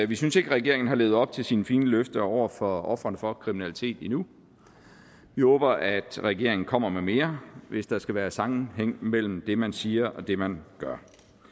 vi synes ikke at regeringen har levet op til sine fine løfter over for ofrene for kriminalitet endnu vi håber at regeringen kommer med mere hvis der skal være sammenhæng mellem det man siger og det man gør